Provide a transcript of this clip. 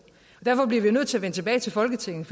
derfor bliver vi nødt til at vende tilbage til folketinget